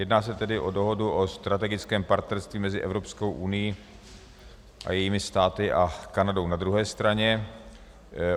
Jedná se tedy o Dohodu o strategickém partnerství mezi Evropskou unií a jejími státy a Kanadou na druhé straně.